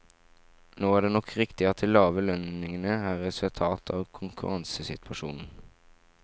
Nå er det nok riktig at de lave lønningene er et resultat av konkurransesituasjonen.